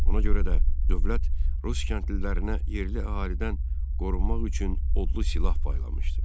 Ona görə də dövlət rus kəndlilərinə yerli əhalidən qorunmaq üçün odlu silah paylamışdı.